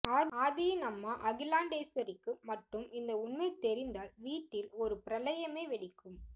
ஆதியின் அம்மா அகிலாண்டேஸ்வரிக்கு மட்டும் இந்த உண்மை தெரிந்தால் வீட்டில் ஒரு பிரளயமே வெடிக்கும்